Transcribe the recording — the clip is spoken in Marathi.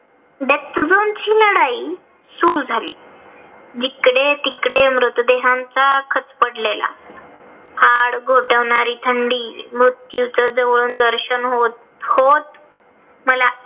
चढाई सुरु झाली. जिकडे तिकडे मृतदेहांचा खच पडलेला. हाड गोठवणारी थंडी मृत्यूच जवळून दर्शन होत होत. मला